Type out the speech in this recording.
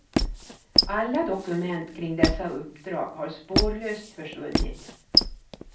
Alla dokument kring dessa uppdrag har spårlöst försvunnit.